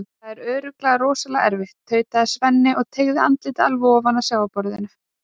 Það er örugglega rosalega erfitt, tautaði Svenni og teygði andlitið alveg ofan að sjávarborðinu.